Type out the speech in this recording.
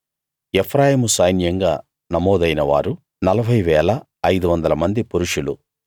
ఎఫ్రాయిము సైన్యంగా నమోదైన వారు 40 500 మంది పురుషులు